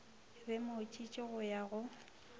be mošiši go ya go